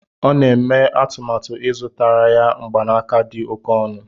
Ọ na-eme atụmatụ ịzụtara ya mgbanaka dị oke ọnụ